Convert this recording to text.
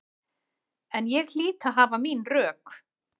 En ég hlýt að hafa mín rök.